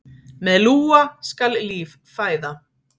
Með lúa skal líf fæða.